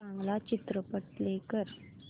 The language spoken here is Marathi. चांगला चित्रपट प्ले कर